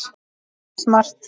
Það er ekki smart.